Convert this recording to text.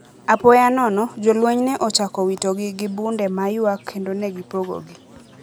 Apoya nono, jolweny ne ochako witogi gi bunde ma ywak kendo ne gipogo gi.